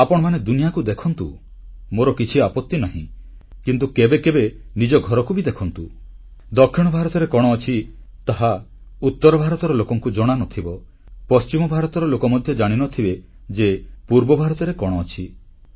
ଆପଣମାନେ ଦୁନିଆକୁ ଦେଖନ୍ତୁ ମୋର କିଛି ଆପତି ନାହିଁ କିନ୍ତୁ କେବେ କେବେ ନିଜ ଘରକୁ ବି ଦେଖନ୍ତୁ ଦକ୍ଷିଣ ଭାରତରେ କଣ ଅଛି ତାହା ଉତର ଭାରତର ଲୋକଙ୍କୁ ଜଣାନଥିବ ପଶ୍ଚିମ ଭାରତର ଲୋକ ମଧ୍ୟ ଜାଣିନଥିବେ ଯେ ପୂର୍ବ ଭାରତରେ କଣ ଅଛି